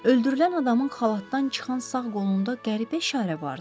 Öldürülən adamın xalatdan çıxan sağ qolunda qəribə işarə vardı.